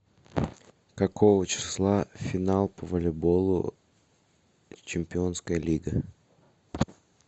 какого числа финал по волейболу чемпионская лига